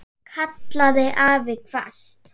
kallaði afi hvasst.